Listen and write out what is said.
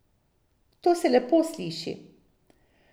To se lepo sliši.